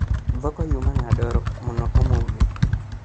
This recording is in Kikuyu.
Thoko yuma na ndoro mũno ũmũthĩ